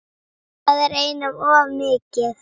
Það er einum of mikið.